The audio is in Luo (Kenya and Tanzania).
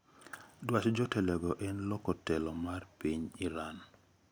Dwach jotelogo en loko telo mar piny Iran